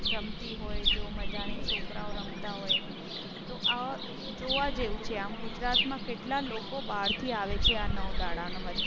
રમતી હોય જો મજા નહી છોકરાઓ રમતા હોય. તો આ જોવા જેવું છે. આમ ગુજરાતમાં કેટલા લોકો બાર થી આવે છે આ નવ દહાડા ના વચ્ચે